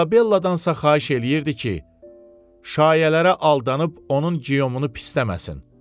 İzabelladan isə xahiş eləyirdi ki, şayiələrə aldanıb onu geyomunu pisləməsin.